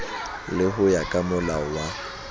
le ho ya kamolao wa